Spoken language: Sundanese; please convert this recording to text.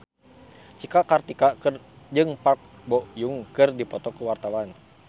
Cika Kartika jeung Park Bo Yung keur dipoto ku wartawan